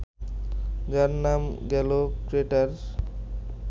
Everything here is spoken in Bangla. যার নাম গেল ক্রেটার